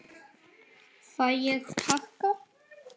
Fæ ég pakka?